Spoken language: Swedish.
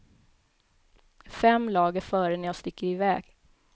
Fem lag är före när jag sticker iväg.